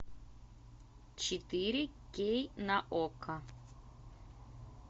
четыре кей на окко